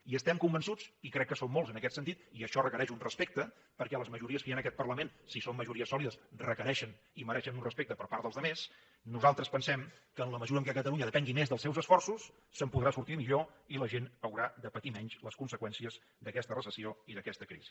i estem convençuts i crec que som molts en aquest sentit i això requereix un respecte perquè les majories que hi ha en aquest parlament si són majories sòlides requereixen i mereixen un respecte per part dels altres nosaltres pensem que en la mesura que catalunya depengui més dels seus esforços se’n podrà sortir millor i la gent haurà de patir menys les conseqüències d’aquesta recessió i d’aquesta crisi